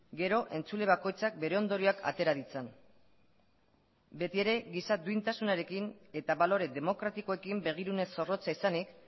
gero entzule bakoitzak bere ondorioak atera ditzan beti ere giza duintasunarekin eta balore demokratikoekin begirune zorrotza izanik